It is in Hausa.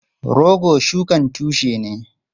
Rogo shukan tushe ne.